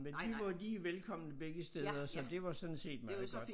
Men vi var jo lige velkomne begge steder så det var sådan set meget godt